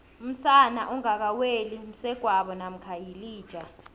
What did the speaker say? umsana ongaka weli msegwabo mamkha yilija